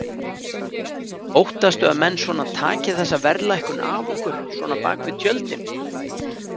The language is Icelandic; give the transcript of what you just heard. Óttastu að menn svona taki þessa verðlækkun af okkur svona bakvið tjöldin?